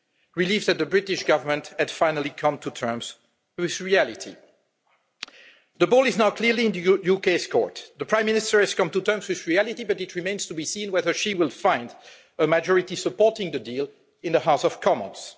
Relief that the British government had finally come to terms with reality. The ball is now clearly in the UK's court. The Prime Minister has come to terms with reality, but it remains to be seen whether she will find a majority supporting the deal in the House of Commons.